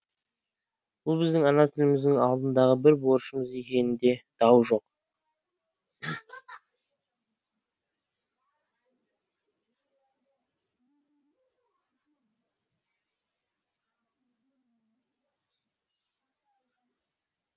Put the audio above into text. бұл біздің ана тіліміздің алдындағы бір борышымыз екенінде дау жоқ